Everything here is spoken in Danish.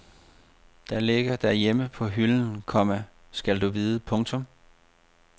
Det ligger derhjemme på hylden, komma skal du vide. punktum